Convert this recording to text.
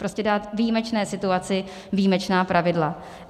Prostě dát výjimečné situaci výjimečná pravidla.